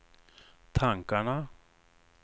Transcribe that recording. tankarna